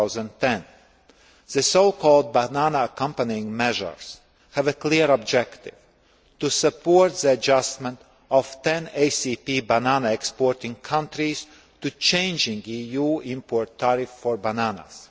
2010. The so called Banana Accompanying Measures have a clear objective to support the adjustment of 10 ACP banana exporting countries to changing EU import tariffs for bananas.